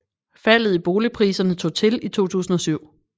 Faldet i boligpriserne tog til i 2007